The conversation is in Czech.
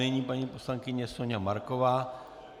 Nyní paní poslankyně Soňa Marková.